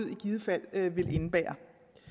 i givet fald vil indebære